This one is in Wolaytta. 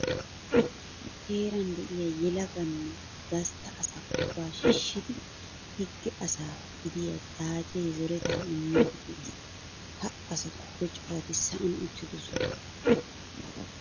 Heeran de'iya yelaga nne gastta asa ubbaa shiishshidi higge asa gidiya xaace zoretaa immiiddi de'es. Ha asatuppe corati sa'an uttidosona.